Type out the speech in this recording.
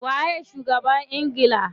Waye shugaban ingila?